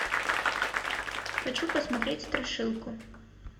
хочу посмотреть страшилку